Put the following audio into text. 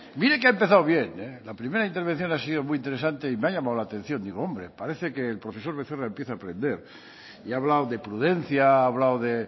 mire que ha empezado bien la primera intervención ha sido muy interesante y me ha llamado la atención digo hombre parece que el profesor becerra empieza a aprender y ha hablado de prudencia ha hablado de